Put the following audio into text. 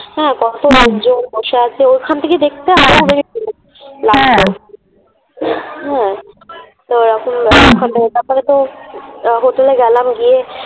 হ্যাঁ কত লোকজন বসে আছে ওখান থেকে দেখতে লাগতো হ্যাঁ তারপরে তো হোটেলে গেলাম। গিয়ে